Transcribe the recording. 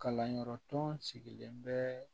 Kalanyɔrɔ tɔn sigilen bɛ